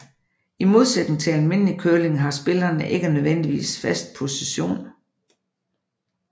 I modsætning til almindelig curling har spillerne ikke nødvendigvis fast position